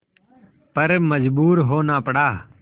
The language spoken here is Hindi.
पर मजबूर होना पड़ा